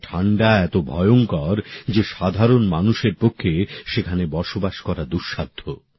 এখানে ঠান্ডা এত ভয়ঙ্কর যে সাধারণ মানুষের পক্ষে সেখানে বসবাস করা দুঃসাধ্য